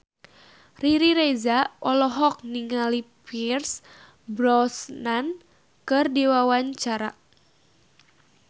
Riri Reza olohok ningali Pierce Brosnan keur diwawancara